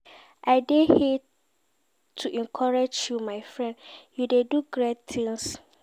I dey here to encourage you my friend, you dey do great tings.